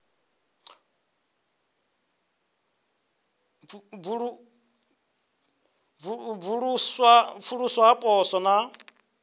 u pfuluswa ha poswo na